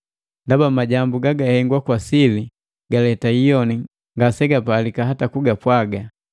Ndaba majambu gagahengwa kwa sili galeta iyoni ngasegapalika hata kugapwaga.